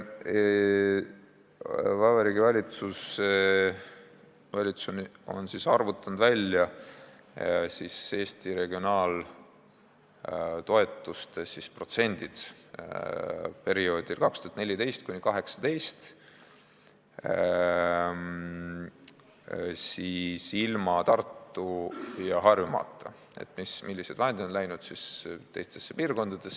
Vabariigi Valitsus on arvutanud välja Eesti regionaaltoetuste protsendid perioodil 2014–2018, selle, millised vahendid on läinud piirkondadesse, ilma Tartu- ja Harjumaata.